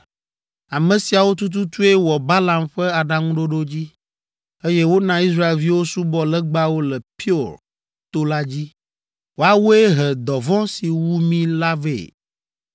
Ame siawo tututue wɔ Balaam ƒe aɖaŋuɖoɖo dzi, eye wona Israelviwo subɔ legbawo le Peor to la dzi; woawoe he dɔvɔ̃ si wu mí la vɛ.